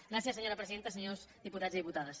gràcies senyora presidenta senyors diputats i diputades